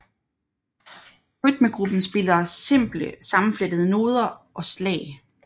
Rytmegruppen spiller simple sammenflettede noder og slag